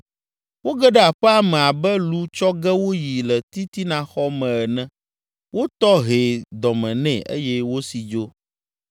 Woge ɖe aƒea me abe lu tsɔ ge woyi le titinaxɔ me ene; wotɔ hɛ dɔme nɛ eye wosi dzo.